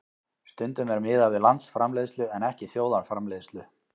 Stundum er miðað við landsframleiðslu en ekki þjóðarframleiðslu.